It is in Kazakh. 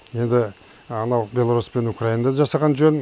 ендә анау беларусь пен украинада да жасаған жөн